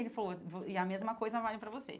Ele falou, e a mesma coisa vale para você.